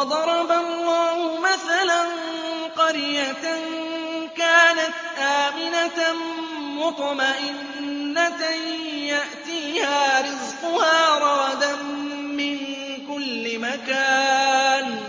وَضَرَبَ اللَّهُ مَثَلًا قَرْيَةً كَانَتْ آمِنَةً مُّطْمَئِنَّةً يَأْتِيهَا رِزْقُهَا رَغَدًا مِّن كُلِّ مَكَانٍ